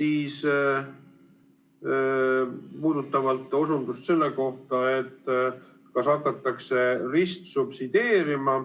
Mis puudutab osundust selle kohta, kas hakatakse ristsubsideerima